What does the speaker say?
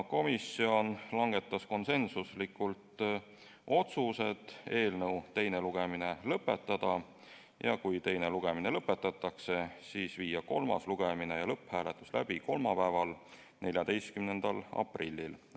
Komisjon langetas järgmised konsensuslikult otsused: eelnõu teine lugemine lõpetada ja kui teine lugemine lõpetatakse, siis viia kolmas lugemine ja lõpphääletus läbi kolmapäeval, 14. aprillil.